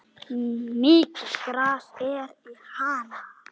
Mikið gras er í Hana.